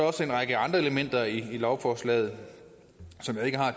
også en række andre elementer i lovforslaget som jeg ikke har